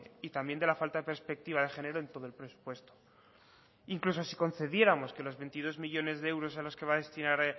y también de la falta de perspectiva de género en todo el presupuesto incluso si concediéramos que los veintidós millónes de euros a los que va a destinar